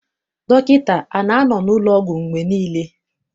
Dọkịta ana-anọ n'ụlọọgwụ mgbe niile?